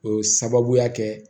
O ye sababuya kɛ